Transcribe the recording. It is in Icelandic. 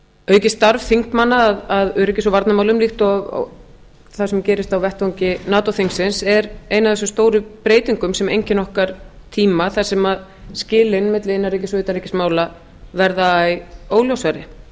aukið starf þingmanna að öryggis og varnarmálum líkt og það sem gerist á vettvang nato þingsins er ein af þessum stóru breytingum sem einkennir okkar tíma þar sem skilin milli innanríkis og utanríkismála verða æ óljósari